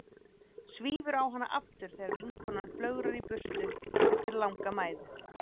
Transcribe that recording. Svífur á hana aftur þegar vinkonan flögrar í burtu eftir langa mæðu.